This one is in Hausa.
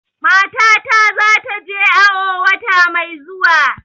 Matana za ta je awo wata mai zuwa